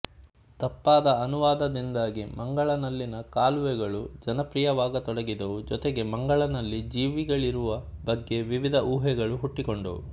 ತಪ್ಪಾದ ಅನುವಾದದಿಂದಾಗಿ ಮಂಗಳನಲ್ಲಿನ ಕಾಲುವೆಗಳು ಜನಪ್ರಿಯವಾಗತೊಡಗಿದವು ಜೊತೆಗೆ ಮಂಗಳನಲ್ಲಿ ಜೀವಿಗಳಿರುವ ಬಗ್ಗೆ ವಿವಿಧ ಊಹೆಗಳು ಹುಟ್ಟಿಕೊಂಡವು